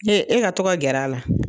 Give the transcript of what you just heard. e ka to ka gɛr'a la.